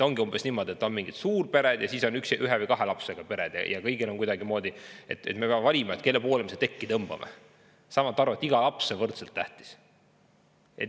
Ongi umbes niimoodi, et on mingid suurpered ja siis on ühe või kahe lapsega pered ja me peame valima, kelle poole me seda tekki tõmbame, saamata aru, et iga laps on võrdselt tähtis.